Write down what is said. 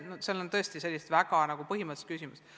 Ma pean kahjuks teile ütlema, et praegu me veel kõiki detaile ette ei näegi.